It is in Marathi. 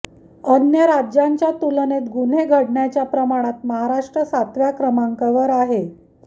अन्य राज्यांच्या तुलनेत गुन्हे घडण्याच्या प्रमाणात महाराष्ट्र सातव्या क्रमांकावर आहे